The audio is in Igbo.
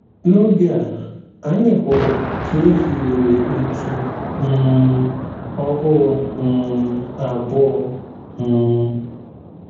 N’oge a, anyị hụrụ ka e hiwere otu um ọhụrụ um abụọ um.